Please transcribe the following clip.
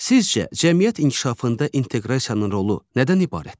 Sizcə, cəmiyyət inkişafında inteqrasiyanın rolu nədən ibarətdir?